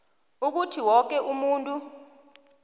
ukuthi woke umuntu